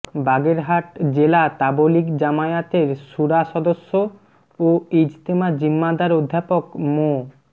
বাগেরহাট জেলা তাবলীগ জামায়াতের শুরা সদস্য ও ইজতেমা জিম্মাদার অধ্যাপক মো